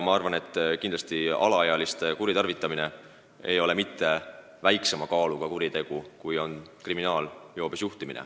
Ma arvan, et alaealiste seksuaalne kuritarvitamine ei ole mitte väiksema kaaluga kuritegu, kui on kriminaaljoobes juhtimine.